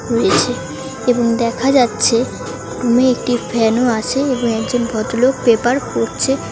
রয়েছে এবং দেখা যাচ্ছে উমম একটি ফ্যানও আছে এবং একজন ভদ্রলোক পেপার পড়ছে।